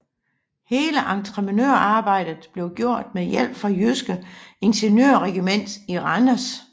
Hele entreprenørarbejdet blev gjort med hjælp fra Jyske Ingeniørregiment i Randers